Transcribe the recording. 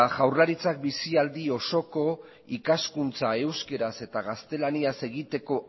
jaurlaritzak bizialdi osoko ikaskuntza euskeraz eta gaztelaniaz egiteko